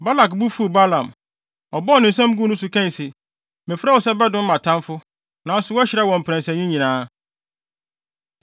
Balak bo fuw Balaam. Ɔbɔɔ ne nsam guu ne so kae se, “Mefrɛɛ wo se bɛdome mʼatamfo, nanso woahyira wɔn mprɛnsa yi nyinaa.